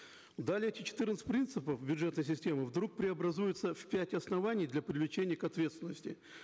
далее эти четырнадцать принципов бюджетной системы вдруг преобразуются в пять оснований для привлечения к ответственности